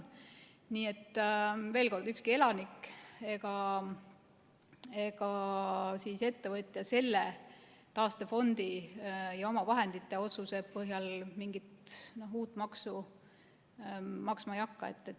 Nii et veel kord: ükski elanik ega ettevõtja selle taastefondi ja omavahendite otsuse põhjal mingit uut maksu maksma ei hakka.